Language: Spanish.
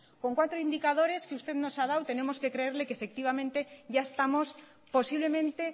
con cuatro indicadores que usted nos ha dado tenemos que efectivamente ya estamos posiblemente